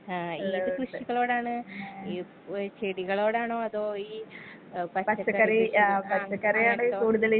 ആ ഏത് കൃഷികളോടാണ് ഈ ഏ ചെടികളോടാണോ അതോ ഈ ഏ പച്ചക്കറി ആ .